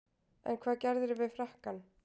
En hvað gerðirðu við frakkann?